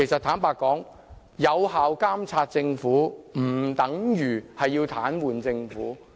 坦白說，有效監察政府不等於要癱瘓政府。